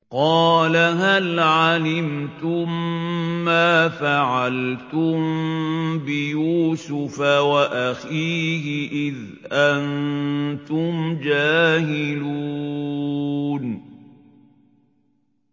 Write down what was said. قَالَ هَلْ عَلِمْتُم مَّا فَعَلْتُم بِيُوسُفَ وَأَخِيهِ إِذْ أَنتُمْ جَاهِلُونَ